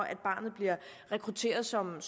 at barnet bliver rekrutteret som